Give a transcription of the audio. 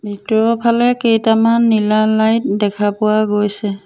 ভিতৰৰ ফালে কেইটামান নীলা লাইট দেখা পোৱা গৈছে।